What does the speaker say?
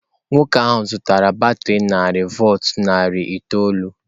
Nwoke ahụ zụtara batrị narị volt narị itoolu.